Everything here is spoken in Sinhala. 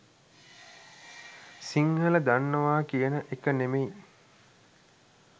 සිංහල දන්නවා කියන එක නෙමෙයි.